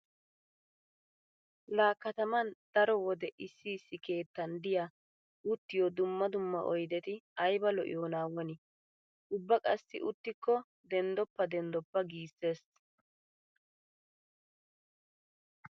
Laa kataman daro wode issi issi keettan diya uttiyo dumma dumma oydeti ayba lo'iyoonaa woni? Ubba qassi uttikko denddoppa denddoppa giissees.